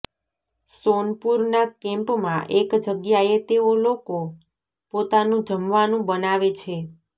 સોનપુર ના કેમ્પ મા એક જગ્યાએ તેઓ લોકો પોતાનું જમવાનું બનાવે છે